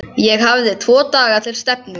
Ég hafði tvo daga til stefnu.